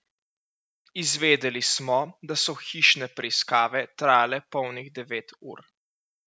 Izvedeli smo, da so hišne preiskave trajale polnih devet ur.